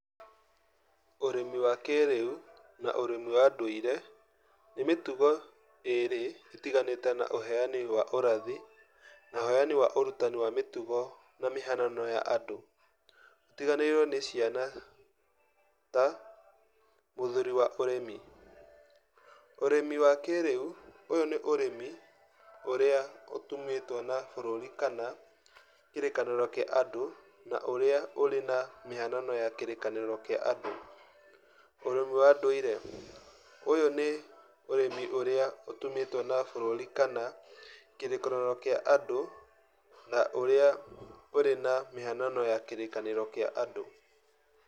Ũrĩmi wa kĩĩrĩu na ũrĩmi wa ndũire, nĩ mĩtugo ĩrĩ ĩtiganĩte na ũheani wa ũrathi na ũheani wa ũrutani wa mĩtugo na mĩhanano ya andũ. ũtiganĩirwo nĩ ciana ta, mũthũri wa ũrĩmi. Ũrĩmi wa kĩĩrĩu, ũyũ nĩ ũrĩmi ũrĩa ũtumĩtwo na bũrũrĩ kana kĩrĩkanĩro kĩa andũ ũrĩa ũrĩ na mĩhanano ya kĩrĩkanĩro kĩa andũ. ũrĩmi wa ndũire. Ũyũ nĩ ũrĩmi ũrĩa ũtumĩtwo na bũrũrĩ kana kĩrĩkanĩro kĩa andũ na ũrĩa ũrĩ na mĩhanano ya kĩrĩkanĩro kĩa andũ.